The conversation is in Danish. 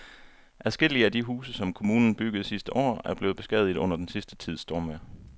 Adskillige af de huse, som kommunen byggede sidste år, er blevet beskadiget under den sidste tids stormvejr.